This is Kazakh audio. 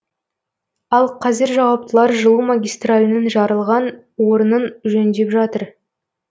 ал қазір жауаптылар жылу магистралінің жарылған орнын жөндеп жатыр